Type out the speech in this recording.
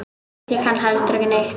Ég kann heldur ekki neitt.